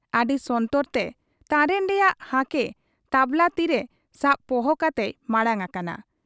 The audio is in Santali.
ᱟᱹᱰᱤ ᱥᱚᱱᱛᱚᱨᱛᱮ ᱛᱟᱨᱮᱱ ᱨᱮᱭᱟᱝ ᱦᱟᱠᱮ ᱛᱟᱵᱽᱞᱟ ᱛᱤᱨᱮ ᱥᱟᱵ ᱯᱚᱦᱚ ᱠᱟᱛᱮᱭ ᱢᱟᱬᱟᱝ ᱟᱠᱟᱱᱟ ᱾